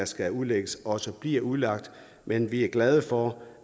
skal udlægges også bliver udlagt men vi er glade for